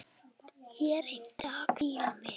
Ég reyni að hvíla mig.